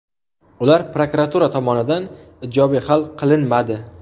ular prokuratura tomonidan ijobiy hal qilinmadi.